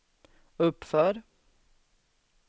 uppför